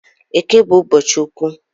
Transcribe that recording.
Eke bu ụbọchị ukwu